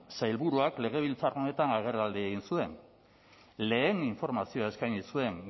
sailburuak legebiltzar honetan agerraldia egin zuen lehen informazioa eskaini zuen